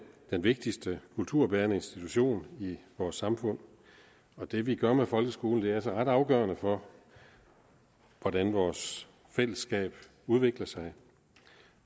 den vigtigste kulturbærende institution i vores samfund og det vi gør med folkeskolen er altså ret afgørende for hvordan vores fællesskab udvikler sig